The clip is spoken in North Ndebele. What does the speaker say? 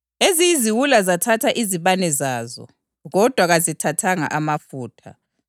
Eziyiziwula zathatha izibane zazo, kodwa kazithathanga amafutha.